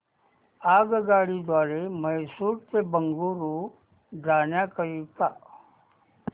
आगगाडी द्वारे मैसूर ते बंगळुरू जाण्या करीता